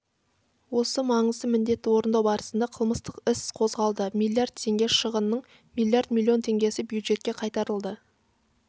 осы маңызды міндетті орындау барысында қылмыстық іс қозғалды миллиард теңге шығынның миллиард миллион теңгесі бюджетке қайтарылды